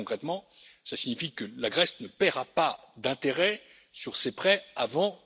Très concrètement, cela signifie que la Grèce ne paiera pas d'intérêts sur ses prêts avant